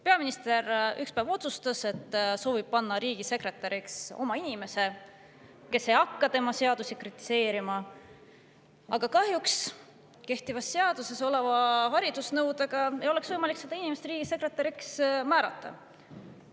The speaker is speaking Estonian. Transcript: Ühel päeval peaminister otsustas, et soovib panna riigisekretäriks oma inimese, kes ei hakka tema seadusi kritiseerima, aga kahjuks kehtivas seaduses oleva haridusnõudega ei oleks võimalik seda inimest riigisekretäriks määrata.